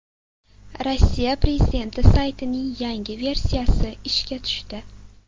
Rossiya prezidenti saytining yangi versiyasi ishga tushdi.